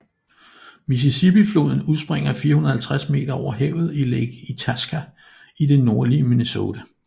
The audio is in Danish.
Mississippifloden udspringer 450 meter over havet i Lake Itasca i det nordlige Minnesota